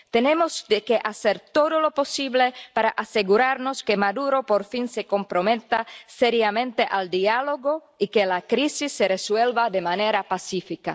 Tenemos que hacer todo lo posible para asegurarnos de que Maduro, por fin, se comprometa seriamente al diálogo y la crisis se resuelva de manera pacífica.